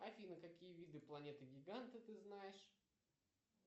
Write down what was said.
афина какие виды планеты гиганты ты знаешь